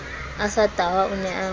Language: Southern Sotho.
a sa tahwa o ne